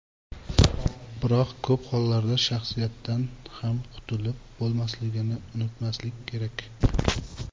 Biroq ko‘p hollarda shaxsiyatdan ham qutilib bo‘lmasligini unutmaslik kerak.